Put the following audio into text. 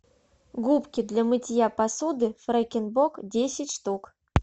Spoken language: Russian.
губки для мытья посуды фрекен бок десять штук